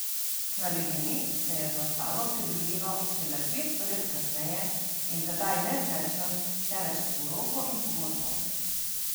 Kraljevini se je za stalno pridružilo šele dvesto let kasneje in tedaj ne z mečem, temveč s poroko in pogodbo.